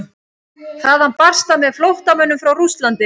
Þaðan barst það með flóttamönnum frá Rússlandi.